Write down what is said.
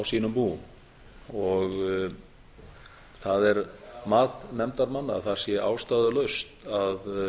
sínum búum það er mat nefndarmanna að það sé ástæðulaust að